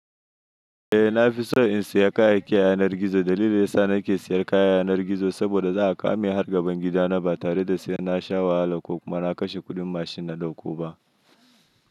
Eh na fi so in saya kayayyakin yanar gizo. Dalilin sa yasa nake sayen kayan yanar gizo har gaban gidana ba tare da na sha wahala kuma na kashe kuɗin mashin.